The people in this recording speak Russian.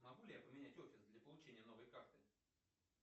могу ли я поменять офис для получения новой карты